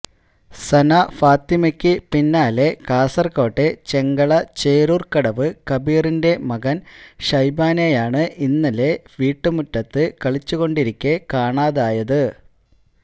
സനഫാത്തിമയ്ക്ക് പിന്നാലെ കാസര്കോട്ടെ ചെങ്കള ചേരൂര് കടവ് കബീറിന്റെ മകന് ഷൈബാനെയാണ് ഇന്നലെ വീട്ടുമുറ്റത്ത് കളിച്ചുകൊണ്ടിരിക്കെ കാണാതായത്